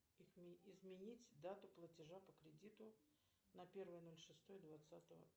изменить дату платежа по кредиту на первое ноль шестое двадцатого